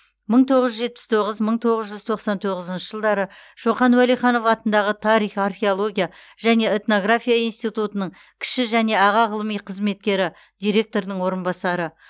мыі тоғыз жүз жетпіс тоғыз мың тоғыз жүз тоқсан тоғызыншы жылдары шоқан уәлиханов атындағы тарих археология және этнография институтының кіші және аға ғылыми қызметкері директордың орынбасары